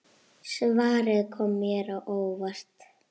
Svarið kom mér á óvart.